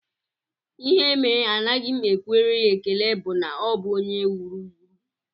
Ihe mere anaghị m ekwere ya ekele bụ na ọ bụ onye wuru wuru